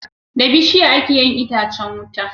Da bishiya ake yin itacan wuta